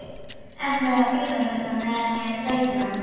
Ætlarðu að bíða hérna meðan ég sæki hann?